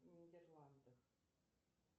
нидерланды